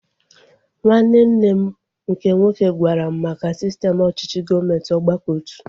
Nwanne nne m nke nwoke gwara m maka sistem ọchịchị gọọmenti ọgbakọotu